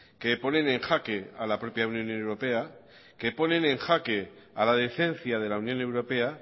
que ponen en jaque a la propia unión europea que ponen en jaque a la decencia de la unión europea